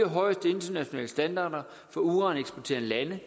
højeste internationale standarder for uraneksporterende lande